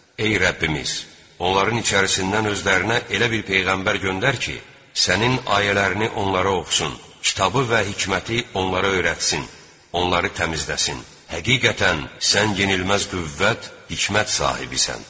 Ey Rəbbimiz, onların içərisindən özlərinə elə bir peyğəmbər göndər ki, sənin ayələrini onlara oxusun, kitabı və hikməti onlara öyrətsin, onları təmizləsin, həqiqətən sən yenilməz qüvvət, hikmət sahibisən.